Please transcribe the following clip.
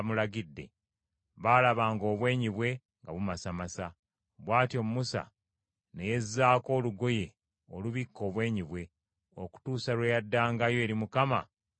baalabanga obwenyi bwe nga bumasamasa. Bw’atyo Musa ne yezzaako olugoye olubikka obwenyi bwe, okutuusa lwe yaddangayo eri Mukama okwogera naye.